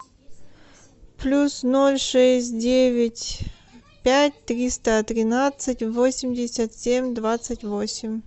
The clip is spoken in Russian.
плюс ноль шесть девять пять триста тринадцать восемьдесят семь двадцать восемь